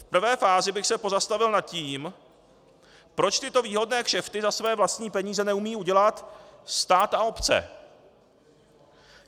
V prvé fázi bych se pozastavil nad tím, proč tyto výhodné kšefty za své vlastní peníze neumí udělat stát a obce?